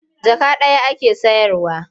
Jaka ɗaya ake sayarwa.